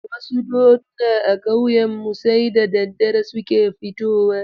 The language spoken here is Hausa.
Wasu doduna a ƙauyenmu sai da daddare suke fitowa.